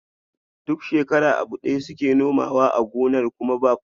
Duk shekara abu daya suke nomawa a gonar kuma ba fashi.